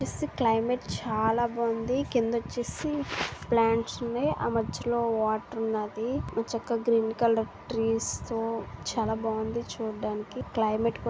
climate చాలా బాగుంది కింద వచ్చేసి ప్లాంట్స్ ఉన్నాయి ఆ మధ్యలో వాటర్ ఉన్నది మా చెక్క గ్రీన్ కలర్ ట్రీస్ చాలా బాగుంది చూడడానికి క్లైమేట్ --